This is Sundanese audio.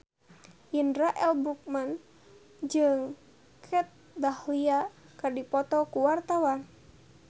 Indra L. Bruggman jeung Kat Dahlia keur dipoto ku wartawan